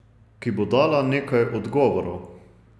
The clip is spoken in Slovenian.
Ki bo dala nekaj odgovorov.